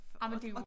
Ej men det jo